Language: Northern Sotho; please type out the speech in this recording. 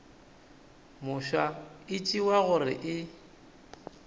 mofsa e tšewa gore e